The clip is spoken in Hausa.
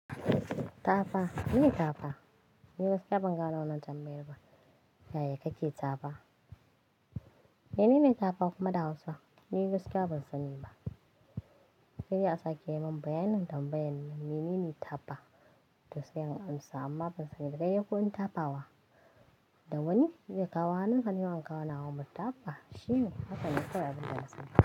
Tafa, mene tafa? Ni gaskiya ban ga wannan tambayar ba. Yaya kake tafa? Menene tafa kuma da Hausa? Ni gaskiya ban sani ba. Saidai a sake min bayan nan tambayar nan. Menene tafa? To sai an amsa amma ban sani da gayyakin tafawa. Dawani zai kawo hannun ka ni ma an kawo na wa mu tafa. Shime haka ne kawai abin da zan sani.